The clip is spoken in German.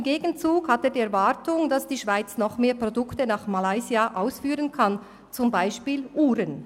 Im Gegenzug hat er die Erwartung, dass die Schweiz noch mehr Produkte nach Malaysia ausführen kann, zum Beispiel Uhren.